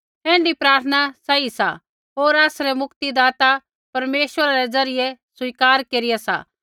ऐण्ढी प्रार्थना सही सा होर आसरै मुक्तिदाता परमेश्वरा रै ज़रियै स्वीकार केरिया सा